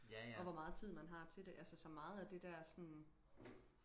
og hvor meget tid man har til det altså så meget af det der sådan